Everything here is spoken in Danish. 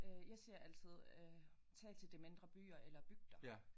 Øh jeg siger altid øh tag til de mindre byer eller bygder